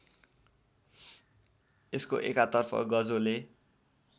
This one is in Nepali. यसको एकातर्फ गजोले